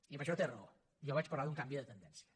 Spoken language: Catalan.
i en això té raó jo vaig parlar d’un canvi de tendència